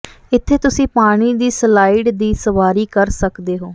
ਇੱਥੇ ਤੁਸੀਂ ਪਾਣੀ ਦੀ ਸਲਾਇਡ ਦੀ ਸਵਾਰੀ ਕਰ ਸਕਦੇ ਹੋ